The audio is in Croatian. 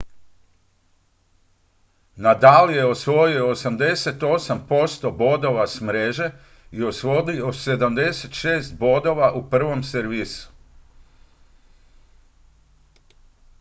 nadal je osvojio 88 % bodova s mreže i osvojio 76 bodova u prvom servisu